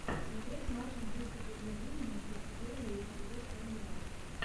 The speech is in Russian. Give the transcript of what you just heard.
смотреть матч английской премьер лиги между берли и вест хэм юнайтед